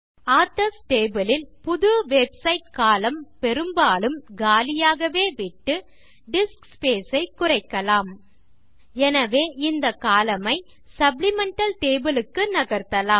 authors table ல் புது website column பெரும்பாலும் காலியாகவே விட்டு டிஸ்க் ஸ்பேஸ் ஐ குறைக்கலாம் எனவே இந்த கோலம்ன் ஐ சப்ளிமெண்டல் டேபிள் க்கு நகர்த்தலாம்